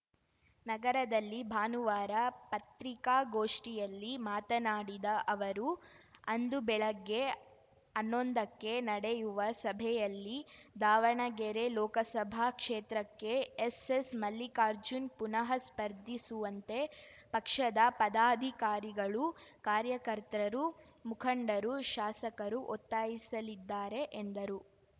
ನಗರದಲ್ಲಿ ಭಾನುವಾರ ಪತ್ರಿಕಾಗೋಷ್ಠಿಯಲ್ಲಿ ಮಾತನಾಡಿದ ಅವರು ಅಂದು ಬೆಳಗ್ಗೆ ಅನ್ನೊಂದಕ್ಕೆ ನಡೆಯುವ ಸಭೆಯಲ್ಲಿ ದಾವಣಗೆರೆ ಲೋಕಸಭಾ ಕ್ಷೇತ್ರಕ್ಕೆ ಎಸ್ಸೆಸ್‌ ಮಲ್ಲಿಕಾರ್ಜುನ್‌ ಪುನಹ ಸ್ಪರ್ಧಿಸುವಂತೆ ಪಕ್ಷದ ಪದಾಧಿಕಾರಿಗಳು ಕಾರ್ಯಕರ್ತರು ಮುಖಂಡರು ಶಾಸಕರು ಒತ್ತಾಯಿಸಲಿದ್ದಾರೆ ಎಂದರು